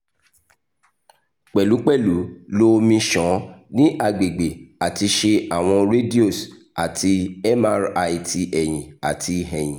pẹlupẹlu lo omi ṣan ni agbegbe ati ṣe awọn radios ati mri ti ẹhin ati ẹhin